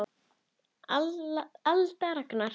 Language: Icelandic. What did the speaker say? Alda og Ragnar.